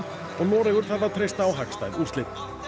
og Noregur þarf að treysta á hagstæð úrslit jürgen